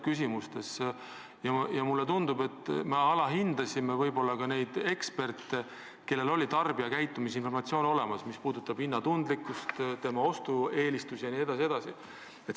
Mulle tundub, et me alahindasime eksperte, kes valdavad tarbijakäitumise informatsiooni – see puudutab hinnatundlikkust, ostueelistusi jne.